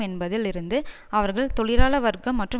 என்பதில் இருந்து அவர்கள் தொழிலாள வர்க்கம் மற்றும்